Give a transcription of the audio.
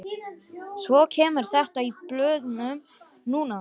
Svo kemur þetta í blöðunum núna